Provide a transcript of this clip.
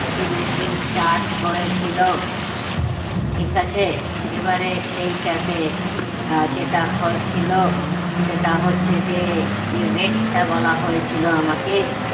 rupees charge করেছিল ঠিক আছে এবারে সেইটাতে আহ যেটা হয়েছিল সেটা হচ্ছে যে যে weight টা বলা হয়েছিল আমাকে